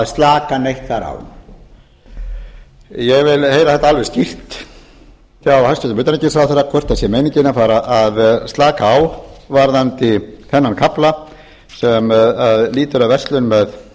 slaka neitt þar á ég vil heyra þetta alveg skýrt hjá hæstvirtum utanríkisráðherra hvort það sé meiningin að fara að slaka á varðandi þennan kafla sem lýtur að verslun